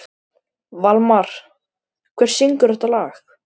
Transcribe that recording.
Valmar, hver syngur þetta lag?